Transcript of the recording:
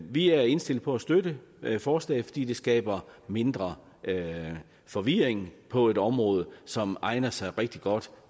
vi er indstillet på at støtte forslaget fordi det skaber mindre forvirring på et område som egner sig rigtig godt